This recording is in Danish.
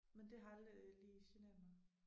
Men det har aldrig lige generet mig